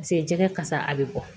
Paseke jɛgɛ kasa a bɛ bɔ